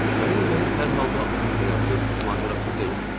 Mən elə gəlir, hər halda onun həyatı macərasız deyil.